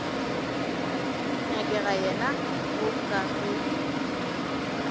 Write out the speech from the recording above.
nyakega yena mo ka ge